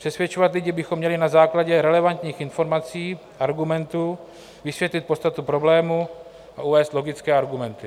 Přesvědčovat lidi bychom měli na základě relevantních informací, argumentů, vysvětlit podstatu problému a uvést logické argumenty.